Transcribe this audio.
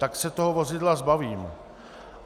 Tak se toho vozidla zbavím.